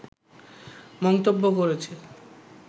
মন্তব্য করেছে